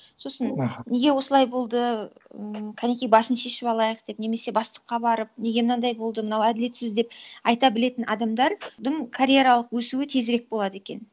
сосын аха неге осылай болды м қанекей басын шешіп алайық деп немесе бастыққа барып неге мынандай болды мынау әділетсіз деп айта білетін адамдардың карьералық өсуі тезірек болады екен